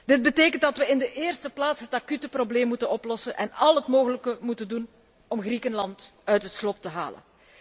Dit betekent dat we in de eerste plaats het acute probleem moeten oplossen en al het mogelijke moeten doen om Griekenland uit het slop te halen.